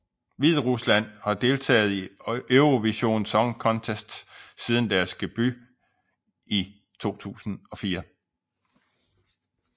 Hviderusland har deltaget i Eurovision Song Contest siden deres debut i 2004